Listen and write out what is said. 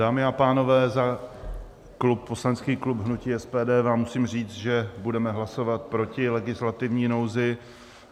Dámy a pánové, za poslanecký klub hnutí SPD vám musím říct, že budeme hlasovat proti legislativní nouzi.